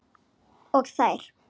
Og þær.